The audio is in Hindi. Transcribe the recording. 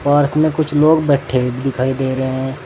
पार्क में कुछ लोग बैठें दिखाई दे रहे हैं।